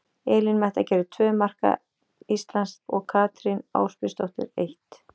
Elín Metta gerði tvö marka Íslands og Katrín Ásbjörnsdóttir eitt.